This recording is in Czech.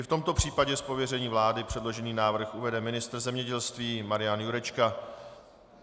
I v tomto případě z pověření vlády předložený návrh uvede ministr zemědělství Marian Jurečka.